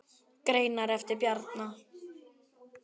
Greinar eftir Bjarna